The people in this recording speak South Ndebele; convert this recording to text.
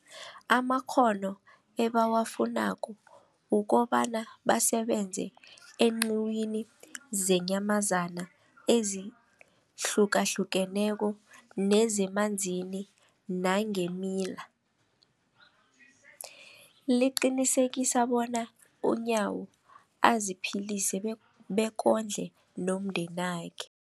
amakghono ebawafunako ukobana basebenze eenqiwini zeenyamazana ezihlukahlukeneko nezemanzini nangeemila, liqinisekisa bona uNyawo aziphilise bek bekondle nomndenakhe.